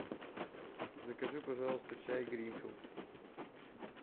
закажи пожалуйста чай гринфилд